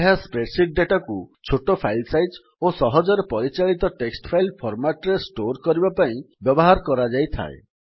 ଏହା ସ୍ପ୍ରେଡସିଟ୍ ଡେଟାକୁ ଛୋଟ ଫାଇଲ୍ ସାଇଜ୍ ଓ ସହଜରେ ପରିଚାଳିତ ଟେକ୍ସଟ୍ ଫାଇଲ୍ ଫର୍ମାଟ୍ ରେ ଷ୍ଟୋର୍ କରିବା ପାଇଁ ବ୍ୟବହାର କରାଯାଇଥାଏ